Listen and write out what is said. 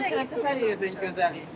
Hə, Xankəndi çox gözəldir.